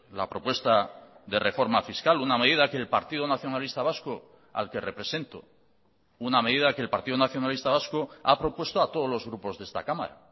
la propuesta de reforma fiscal una medida que el partido nacionalista vasco al que represento una medida que el partido nacionalista vasco ha propuesto a todos los grupos de esta cámara